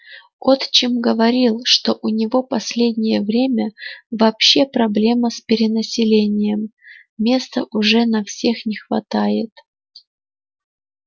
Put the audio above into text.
отчим говорил что у него последнее время вообще проблема с перенаселением места уже на всех не хватает